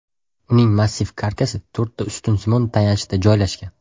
Uning massiv karkasi to‘rtta ustunsimon tayanchda joylashgan.